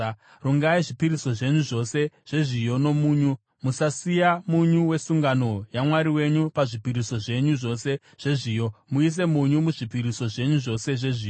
Rungai zvipiriso zvenyu zvose zvezviyo nomunyu. Musasiya munyu wesungano yaMwari wenyu pazvipiriso zvenyu zvose zvezviyo; muise munyu muzvipiriso zvenyu zvose zvezviyo.